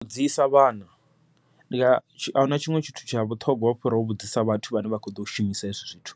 U vhudzisa vhana ahuna tshiṅwe tshithu tsha vhuṱhongwa fhira u vhudzisa vhathu vhane vha kho ḓo shumisa hezwi zwithu,